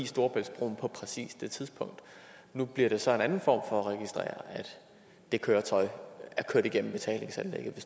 storebæltsbroen på præcis det tidspunkt nu bliver det så en anden form for registrering af at det køretøj er kørt igennem betalingsanlægget ved